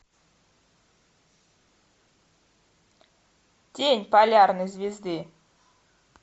тень полярной звезды